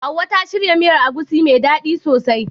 Hauwa ta shirya miyar agushi mai dadi sosai.